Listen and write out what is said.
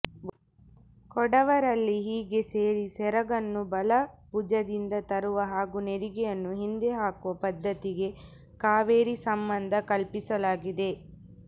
ಕೊಡವರಲ್ಲಿ ಹೀಗೆ ಸೇರಿ ಸೆರಗನ್ನು ಬಲಭುಜದಿಂದ ತರುವ ಹಾಗೂ ನೆರಿಗೆಯನ್ನು ಹಿಂದೆ ಹಾಕುವ ಪದ್ಧತಿಗೆ ಕಾವೇರಿ ಸಂಬಂಧ ಕಲ್ಪಿಸಲಾಗಿದೆ